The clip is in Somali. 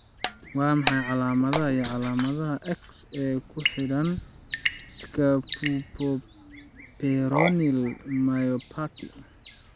Waa maxay calamadaha iyo calaamadaha X ee ku xidhan scapupoperoneal myopathy.